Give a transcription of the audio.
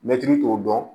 Mɛtiri t'o dɔn